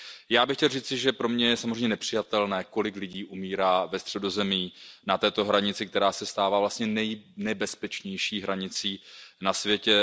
Já bych chtěl říci, že pro mě je samozřejmě nepřijatelné, kolik lidí umírá ve Středozemí na této hranici, která se stává vlastně nejnebezpečnější hranicí na světě.